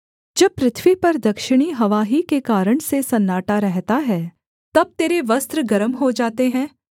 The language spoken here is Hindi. जब पृथ्वी पर दक्षिणी हवा ही के कारण से सन्नाटा रहता है तब तेरे वस्त्र गर्म हो जाते हैं